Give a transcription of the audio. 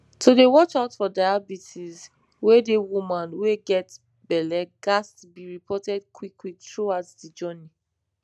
to dey watch out for diabetes wey dey woman wey get belle ghats be reported quick quick throughout de journey